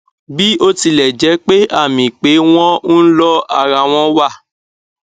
bí ó tilẹ jẹ pé àmì pé wọn ń lọ ara wọn wà